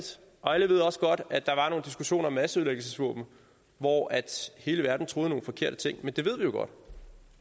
og alle ved også godt at der var nogle diskussioner om masseødelæggelsesvåben hvor hele verden troede nogle forkerte ting men det ved vi jo godt